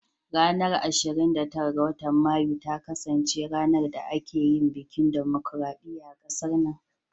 Ranar ashirin da tara ga watan Mayu ta kasance ranar da aka yin bikin dimokradiyya a kasar nan.